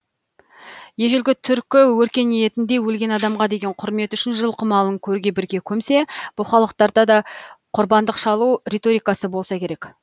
ежелгі түркі өркениетінде өлген адамға деген құрмет үшін жылқы малын көрге бірге көмсе бұл халықтарда да құрбандық шалу риторикасы болса керек